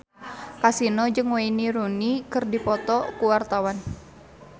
Kasino jeung Wayne Rooney keur dipoto ku wartawan